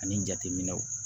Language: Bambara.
Ani jateminɛw